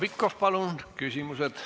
Heljo Pikhof, palun, teie küsimus!